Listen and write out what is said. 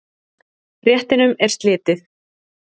Réttinum er slitið.